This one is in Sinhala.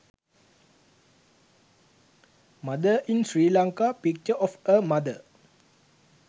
mother in sri lanka picture of a mother